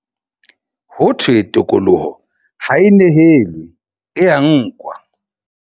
Ho thwe tokoloho ha e nehelwe, e ya nkwa.